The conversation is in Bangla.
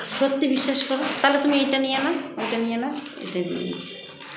সত্যি বিশ্বাস করো তালে তুমি এটা নিয়ে নাও এটা নিয়ে নাও এটা দিয়ে দিচ্ছি